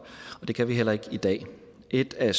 det kan vi heller ikke i dag et af